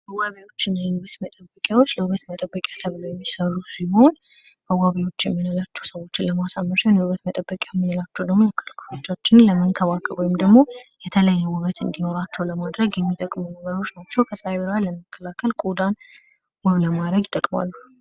መዋቢያዎች እና የውበት መጠበቂያዎች ለውበት መጠበቂያ ተብለው የሚሰሩ ሲሆን መዋቢያዎች የምላቸው ሰዎችን ለማሳመሪያ እና የውበት መጠበቂያ የምንላቸው ደሞ አካል ክፍሎቻችንን ለመንከባከብ ወይም ደሞ የተለያየ ውበት እንዲኖራቸው ለማድረግ የሚጠቅሙ ነገሮች ናቸው። ከጸሃይ ብርሃን ለመከላከል ቆዳን ውብ ለማድረግ ይጠቅማሉ።